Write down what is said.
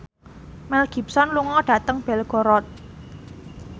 Mel Gibson lunga dhateng Belgorod